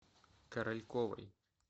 корольковой